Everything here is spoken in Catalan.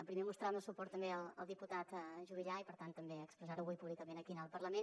primer mostrar el meu suport també al diputat juvillà i per tant també expressar ho avui públicament aquí al parlament